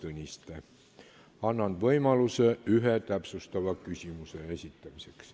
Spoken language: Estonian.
Annan iga teema arutelul võimaluse ühe täpsustava küsimuse esitamiseks.